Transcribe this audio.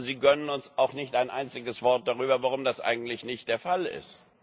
Aber Sie gönnen uns auch nicht ein einziges Wort darüber, warum das eigentlich nicht der Fall ist.